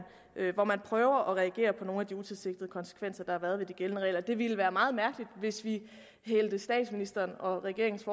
prøver at reagere på nogle af de utilsigtede konsekvenser der har været ved de gældende regler det ville være meget mærkeligt hvis vi hældte statsministerens og regeringens